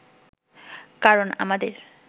কারণ আমাদের